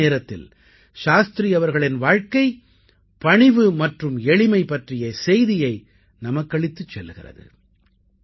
அதே நேரத்தில் சாஸ்திரி அவர்களின் வாழ்க்கை பணிவு மற்றும் எளிமை பற்றிய செய்தியை நமக்களித்துச் செல்கிறது